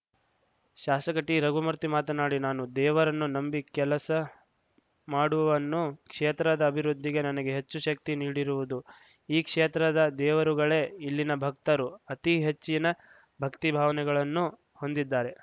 ಶಾಸಕ ಟಿರಘುಮೂರ್ತಿ ಮಾತನಾಡಿ ನಾನು ದೇವರನ್ನು ನಂಬಿ ಕೆಲಸ ಮಾಡುವನ್ನು ಕ್ಷೇತ್ರದ ಅಭಿವೃದ್ಧಿಗೆ ನನಗೆ ಹೆಚ್ಚು ಶಕ್ತಿ ನೀಡಿರುವುದು ಈ ಕ್ಷೇತ್ರದ ದೇವರುಗಳೇ ಇಲ್ಲಿನ ಭಕ್ತರು ಅತಿ ಹೆಚ್ಚಿನ ಭಕ್ತಿ ಭಾವನೆಗಳನ್ನು ಹೊಂದಿದ್ದಾರೆ